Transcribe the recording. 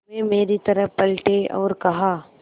वे मेरी तरफ़ पलटे और कहा